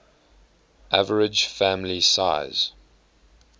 average family size